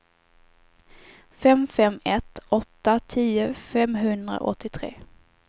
fem fem ett åtta tio femhundraåttiotre